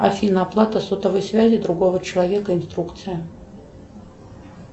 афина оплата сотовой связи другого человека инструкция